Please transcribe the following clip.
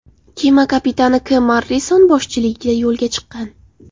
Kema Kapitan K. Morrison boshchiligida yo‘lga chiqqan.